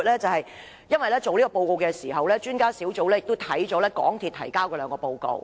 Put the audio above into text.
撰寫這份報告的時候，專家小組翻閱了港鐵公司提交的兩份報告。